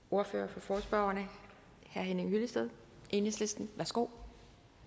ordføreren for forespørgerne herre henning hyllested enhedslisten værsgo